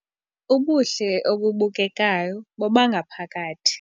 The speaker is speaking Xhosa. Ubuhle obubukekayo bobangaphakathi